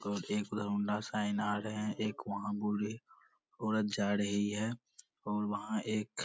और एक Honda sign आ रहे है एक वहाँ बूढ़ी औरत जा रही है और वहाँ एक --